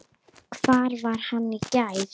Hvar var hann í gær?